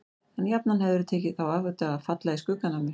En jafnan hefðirðu tekið þá áhættu að falla í skuggann af mér.